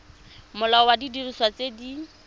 molao wa didiriswa tse di